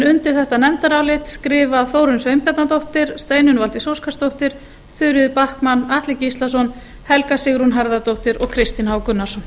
undir þetta nefndarálit skrifa þórunn sveinbjarnardóttir steinunn valdís óskarsdóttir þuríður backman atli gíslason helga sigrún harðardóttir og kristinn h gunnarsson